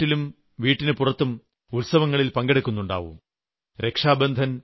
നിങ്ങളും വീട്ടിലും വീട്ടിന് പുറത്തും ഉത്സവങ്ങളിൽ പങ്കെടുക്കുന്നുണ്ടാവും